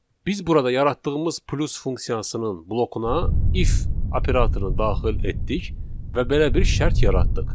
Biz burada yaratdığımız plus funksiyasının blokuna if operatorunu daxil etdik və belə bir şərt yaratdıq.